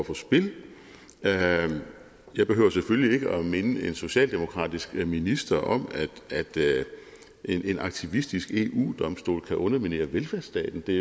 på spil jeg behøver selvfølgelig ikke at minde en socialdemokratisk minister om at en aktivistisk eu domstol kan underminere velfærdsstaten det